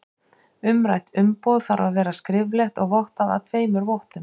Umrætt umboð þarf að vera skriflegt og vottað af tveimur vottum.